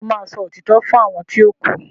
ṣe o má sọ òtítọ́ fún àwọn ti o ku?